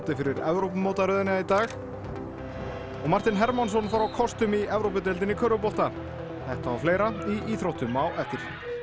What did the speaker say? fyrir Evrópumótaröðina í dag og Martin Hermannsson fór á kostum í Evrópudeildinni í körfubolta þetta og fleira í íþróttum á eftir